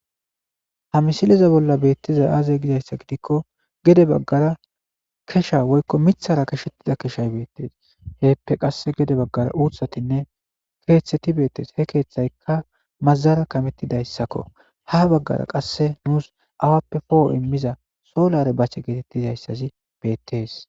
Ha misileza bolla beettiza aaze gizayssa gidikko gede baggara kesha woykko mithara keshettida keshay beettees heppe qasse gede baggara uuthatinne keeththeti beettees he keeththaykka mazara kamettidayssakko ha baggara qasse nuus awappe pooho immiza soolare bache geetettizayssazi beettees.